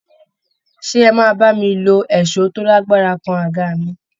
Ṣé ẹ máa bá mi lo èṣó tó lágbára kan aga mi